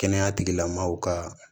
Kɛnɛya tigilamɔgɔw ka